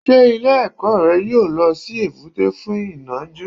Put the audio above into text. Ṣé ilé ẹ̀kọ́ rẹ yóò lọ sí èbúté fún ìnajú.